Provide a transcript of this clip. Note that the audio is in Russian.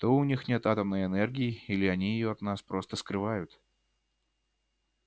то у них нет атомной энергии или они её от нас просто скрывают